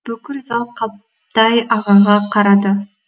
бүкіл зал қабдай ағаға қарады